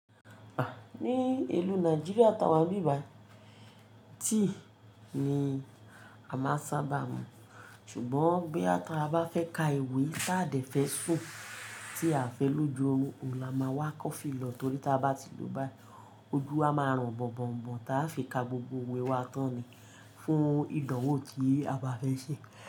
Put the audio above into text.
Ah! Ni ìlú Nàìjíríà tá wà ni ibí bàyi, tea ni a máa ń sábà mu. Ṣùgbọ́n boya ta bá fẹ́ ka ewé tá dẹ̀ fẹ́ sùn, tí a fẹ́ lò ju orun, òun la máa wá coffee lọ torí tí a bá ti lò ó báyii oju a máa ran bọ̀n bọ̀n bọ̀n tá fi ka gbogbo ewé wa tán ni fún ìdánwò tí a bá fẹ́ ṣe.